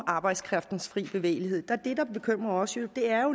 arbejdskraftens fri bevægelighed er det der bekymrer os